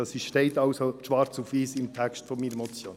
» Es steht also schwarz auf weiss im Text meiner Motion.